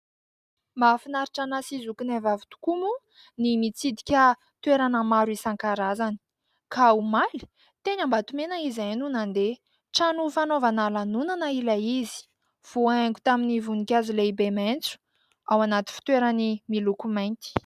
Mahafinaritra anahy sy zokinay vavy tokoa moa ny mitsidika toerana maro isan-karazany. Ka omaly dia teny Ambatomena izahay no nandeha. Trano fanaovana lanonana ilay izy. Voahaingo tamin'ny voninkazo lehibe maitso, ao anaty fitoerany miloko mainty.